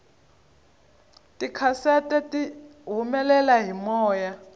tikhasete tihumele hi moya